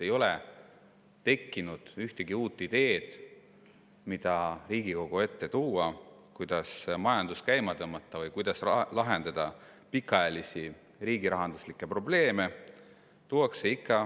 Ei ole tekkinud ühtegi uut ideed, mida Riigikogu ette tuua, kuidas majandus käima tõmmata või kuidas lahendada pikaajalisi riigirahanduslikke probleeme.